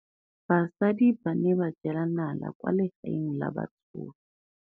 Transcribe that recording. Basadi ba ne ba jela nala kwaa legaeng la batsofe.